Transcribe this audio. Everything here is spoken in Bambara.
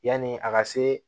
Yanni a ka se